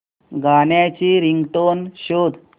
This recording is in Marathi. गाण्याची रिंगटोन शोध